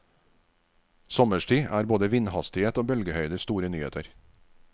Sommerstid er både vindhastighet og bølgehøyde store nyheter.